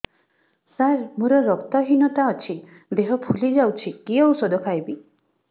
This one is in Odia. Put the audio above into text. ସାର ମୋର ରକ୍ତ ହିନତା ଅଛି ଦେହ ଫୁଲି ଯାଉଛି କି ଓଷଦ ଖାଇବି